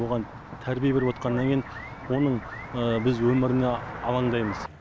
оған тәрбие беріп отырғаннан кейін оның біз өміріне алаңдаймыз